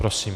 Prosím.